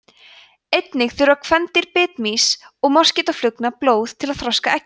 einnig þurfa kvendýr bitmýs og moskítóflugna blóð til að þroska eggin